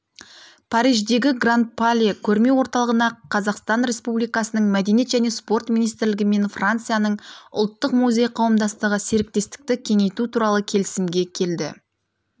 париждегі гран пале көрме орталығында қазақстан республикасының мәдениет және спорт министрлігі мен францияның ұлттық музей қауымдастығы серіктестікті кеңейту туралы келісімге келді